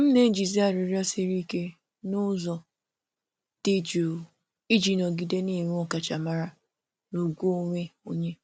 M na-ejizi arịrịọ siri um ike n’ụzọ dị jụụ iji nọgide na-enwe ọkachamara na ugwu onwe onye.